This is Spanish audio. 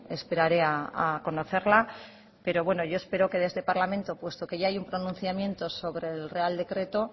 esperaré a conocerla pero bueno yo espero que de este parlamento puesto que ya hay un pronunciamiento sobre el real decreto